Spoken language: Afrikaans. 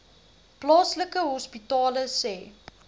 plaaslike hospitale sê